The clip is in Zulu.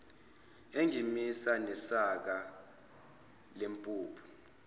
engimisa nesaka lempuphu